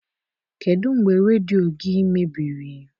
Kedụ mgbe redio gị mebiri?